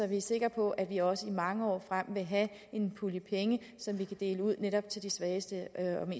vi er sikre på at vi også i mange år frem vil have en pulje af penge som vi kan dele ud netop til de svageste